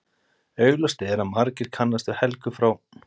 Augljóst er að margir kannast við Helgu frá